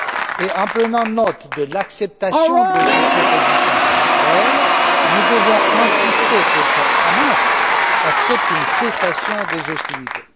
Et en prenant note de l'acceptation de cette proposition par Israël, nous devons insister pour que Hamas accepte une cessation des hostilités.